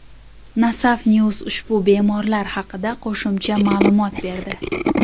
Nasaf News ushbu bemorlar haqida qo‘shimcha ma’lumot berdi .